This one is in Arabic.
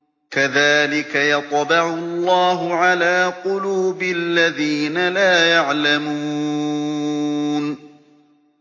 كَذَٰلِكَ يَطْبَعُ اللَّهُ عَلَىٰ قُلُوبِ الَّذِينَ لَا يَعْلَمُونَ